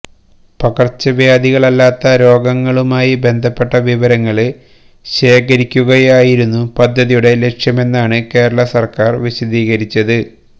പകര്ച്ചവ്യാധികളല്ലാത്ത രോഗങ്ങളുമായി ബന്ധപ്പെട്ട വിവരങ്ങള് ശേഖരിക്കുകയായിരുന്നു പദ്ധതിയുടെ ലക്ഷ്യമെന്നാണ് കേരള സര്ക്കാര് വിശദീകരിച്ചത്